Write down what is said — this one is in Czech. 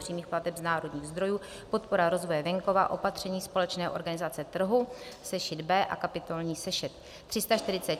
přímých plateb z národních zdrojů, podpora rozvoje venkova, opatření společné organizace trhu - sešit B a kapitolní sešit)